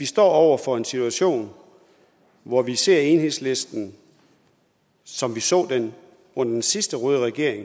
stå over for en situation hvor vi ser enhedslisten som vi så dem under den sidste røde regering